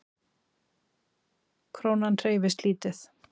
Krónan hreyfist lítið